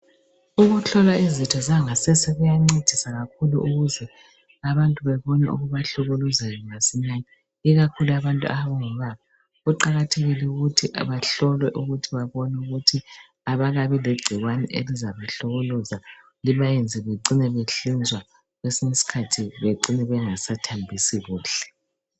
Ukuhlolwa izitho zangasese kuyancedisa kakhulu ukuze abantu bebone okubahlukuluzayo masinyane ikakhulu abantu abangobaba. Kuqakathekile ukuthi bahlolwe ukuthi babone ukuthi abakabi legcikwane elizabahlukuluza libayenze bacine behlinzwa kwesinye isikhathi bacine bengasathambisi kuhle.